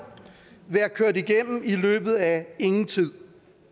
være kørt igennem i løbet af ingen tid